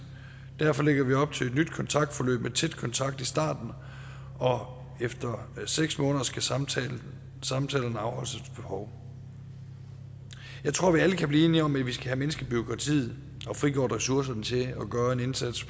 derfor lægger vi op til et nyt kontaktforløb med tæt kontakt i starten og efter seks måneder skal samtalerne afholdes efter behov jeg tror vi alle kan blive enige om at vi skal have mindsket bureaukratiet og frigjort ressourcerne til at gøre en indsats